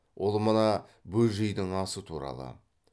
ол мына бөжейдің асы туралы